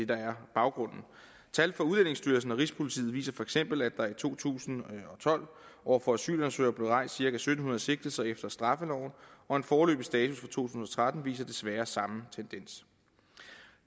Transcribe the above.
der er baggrunden tal fra udlændingestyrelsen og rigspolitiet viser feks at der i to tusind og tolv over for asylansøgere blev rejst cirka syv hundrede sigtelser efter straffeloven og en foreløbig status for to tusind og tretten viser desværre samme tendens